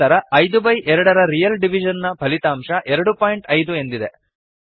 ನಂತರ ಐದು ಬೈ ಎರಡರ ರಿಯಲ್ ಡಿವಿಷನ್ ನ ಫಲಿತಾಂಶ ಎರಡು ಪಾಯಿಂಟ್ ಐದು ಎಂದಿದೆ